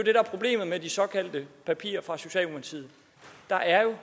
er problemet med de såkaldte papirer fra socialdemokratiet der er jo